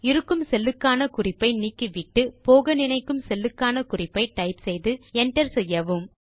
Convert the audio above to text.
இருக்கும் செல்லுக்கான குறிப்பை நீக்கிவிட்டு போக நினைக்கும் செல்லுக்கான குறிப்பை டைப் செய்து Enter செய்யவும்